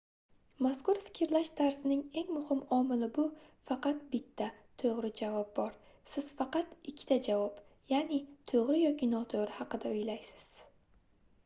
mazkur fikrlash tarzining eng muhim omili bu faqat bitta toʻgʻri javob bor siz faqat ikkita javob yaʼni toʻgʻri yoki notoʻgʻri haqida oʻylaysiz